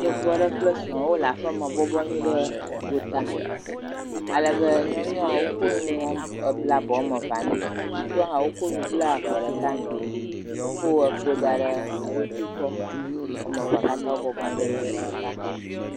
Yevu aɖe kple wole aƒeme bɔbɔ anyi ɖe gota. Alebe nyɔnua wokɔ nu ebla abɔ woame vea nɛ. Ŋutsua hã, wokɔ nu bla afɔ ɖeka nɛ. Wòkɔ kpo da ɖe eɖokui gbɔ. Woame vea katã bɔb anyi ɖe teƒe ɖeka.